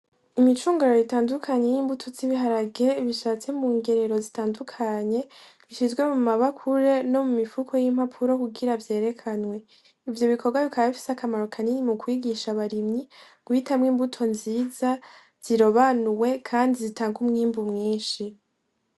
Imicungararo itandukanye y'imbuto z'ibiharage bishatse mu ngerero zitandukanye, zishizwe mu mabakure no mu mifuko y'impapuro kugira vyerekanwe. Ivyo bikorwa bikaba bifise akamaro kanini mu kwigisha abarimyi guhitamwo imbuto nziza, zirobanuwe, kandi zitanga umwimbu mwinshi.